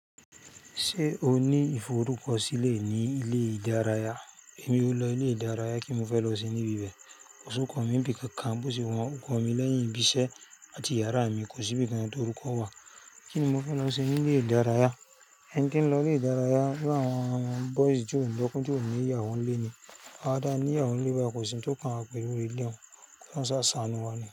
Ṣé o ní ìforúkọ sílè ní ilé ìdárayá? Èmi o lọ ilé ìdárayá kí n fẹ́ lọ sin níbí bẹ́ẹ̀. Òṣù kan mi ń bi kankan bó ṣe wọn ò kọ mi lẹ́yìn ibi iṣẹ́ àti yàrá mi kò sí bí i kann tí orúkọ wà. Kíni mo fẹ́ lọ se ní ilé ìdárayá? Ẹni tí ń lọ ilé ìdárayá bí àwọn boys tí ó lọ́kọ tí ò ní ìyàwó ń lé ni. Àwa ta ní ìyàwó ń lé báyìí kò sí ń tó kàn wá pẹ̀lú eléhun. Kí olọ́hun sá sàánú wa ni.